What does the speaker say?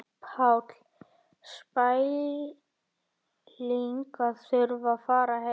Páll: Spæling að þurfa að fara heim?